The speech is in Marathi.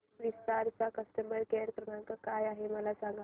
विस्तार चा कस्टमर केअर क्रमांक काय आहे मला सांगा